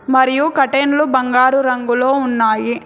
మరియు కర్టెన్లు బంగారు రంగులో ఉన్నాయి.